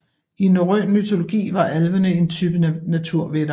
I norrøn mytologi var alvene en type naturvætter